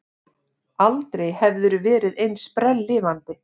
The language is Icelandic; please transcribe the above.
Aldrei hafðirðu verið eins sprelllifandi.